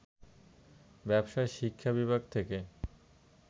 ব্যবসায় শিক্ষা বিভাগ থেকে